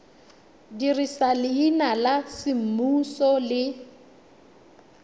dirisa leina la semmuso le